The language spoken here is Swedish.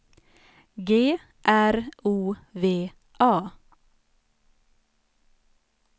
G R O V A